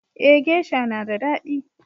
Eh geisha na da daɗi.